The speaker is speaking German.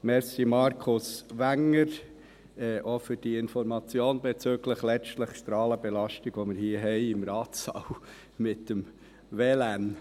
Danke, Markus Wenger, auch für die Information bezüglich der Strahlenbelastung, die wir letztlich hier im Ratssaal mit dem WLAN haben.